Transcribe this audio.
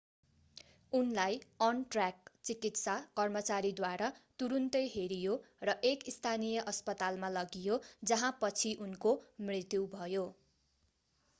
उनलाई अन-ट्र्याक चिकित्सा कर्मचारीद्वारा तुरून्तै हेरियो र एक स्थानीय अस्पतालमा लगियो जहाँ पछि उनको मृत्यु भयो